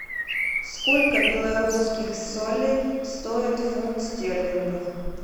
сколько белорусских солей стоит фунт стерлингов